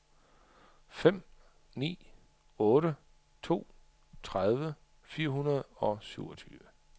fem ni otte to tredive fire hundrede og syvogtyve